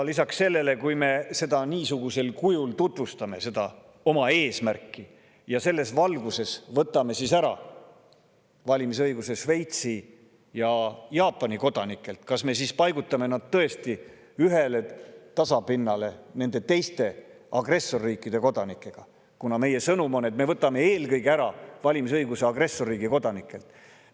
Lisaks, kui me niisugusel kujul tutvustame seda oma eesmärki ja selles valguses võtame ära valimisõiguse Šveitsi ja Jaapani kodanikelt, kas siis me paigutame nad tõesti ühele tasapinnale nende teiste, agressorriigi kodanikega, kuna meie sõnum on, et me võtame valimisõiguse ära eelkõige agressorriigi kodanikelt?